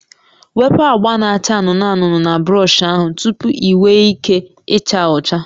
Wepu agba na-acha anụnụ anụnụ na brọsh ahụ tupu ị nwee ike ịcha ọcha